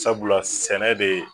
Sabula sɛnɛ de